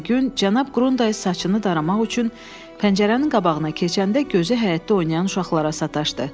Ertəsi gün cənab Qrundays saçını daramaq üçün pəncərənin qabağına keçəndə gözü həyətdə oynayan uşaqlara sataşdı.